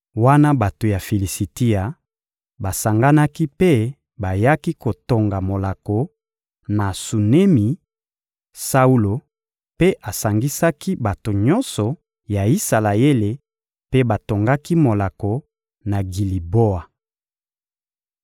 Wana bato ya Filisitia basanganaki mpe bayaki kotonga molako, na Sunemi, Saulo mpe asangisaki bato nyonso ya Isalaele mpe batongaki molako na Giliboa.